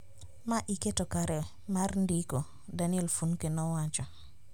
Ma iketo kare mar ndiko, Daniel Funke nowacho